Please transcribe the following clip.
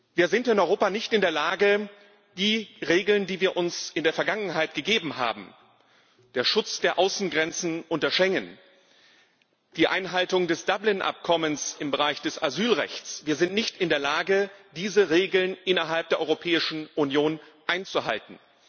Wir sind in Europa nicht in der Lage, die Regeln, die wir uns in der Vergangenheit gegeben haben der Schutz der Außengrenzen unter Schengen, die Einhaltung des Dublin Abkommens im Bereich des Asylrechts innerhalb der Europäischen Union einzuhalten.